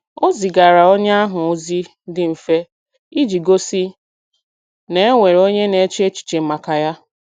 Ọ zigara onye ahụ ozi dị mfe iji gosi na e nwere onye na-eche echiche maka ya